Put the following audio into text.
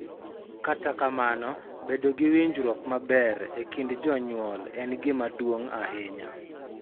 Kata kamano, bedo gi winjruok maber e kind jonyuol en gima duong� ahinya.